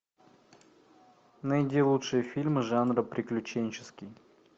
найди лучшие фильмы жанра приключенческий